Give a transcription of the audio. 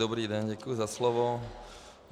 Dobrý den, děkuji za slovo.